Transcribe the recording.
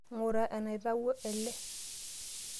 Ng'ura enaitawuo ele.